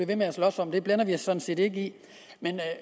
ved med at slås om det blander vi os sådan set ikke i men